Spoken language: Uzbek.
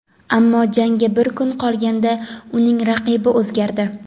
ammo jangga bir kun qolganda uning raqibi o‘zgardi.